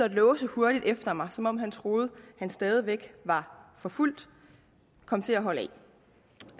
at låse hurtigt efter mig som om han troede han stadig væk var forfulgt kom til at holde af